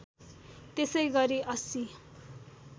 त्यसै गरी ८०